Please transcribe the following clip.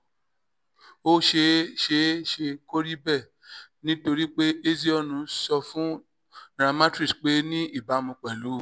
ó ṣeé ṣeé ṣe kó rí bẹ́ẹ̀ nítorí pé ezeonu sọ fún nairametrics pé ní ìbámu pẹ̀lú